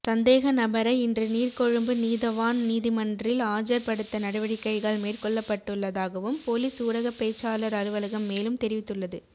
சந்தேகநபரை இன்று நீர்கொழும்பு நீதவான் நீதிமன்றில் ஆஜர் படுத்த நடவடிக்கைகள் மேற்கொள்ளப்பட்டுள்ளதாகவும் பொலிஸ் ஊடகப்பேச்சாளர் அலுவலகம் மேலும் தெரிவித்துள்ளது